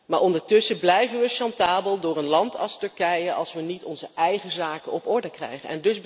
Maar ondertussen blijven we chantabel door een land als Turkije, als we niet onze eigen zaken op orde krijgen.